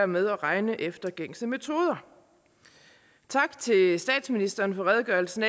med at regne efter gængse metoder tak til statsministeren for redegørelsen